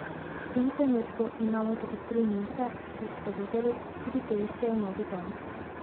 V tem trenutku imamo tudi tri nimfe, kot ste videli, tudi te iščejo novi dom.